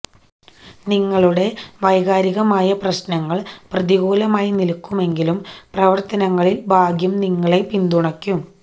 നിങ്ങളുടെ വൈകാരികമായ പ്രശ്നങ്ങള് പ്രതികൂലമായി നില്ക്കുമെങ്കിലും പ്രവര്ത്തനങ്ങളില് ഭാഗ്യം നിങ്ങളെ പിന്തുണയ്ക്കും